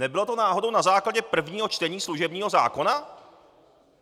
Nebylo to náhodou na základě prvního čtení služebního zákona?